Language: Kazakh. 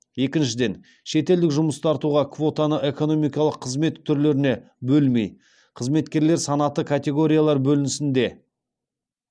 екіншіден шетелдік жұмыс тартуға квотаны экономикалық қызмет түрлеріне бөлмей қызметкерлер санаты категориялар бөлінісінде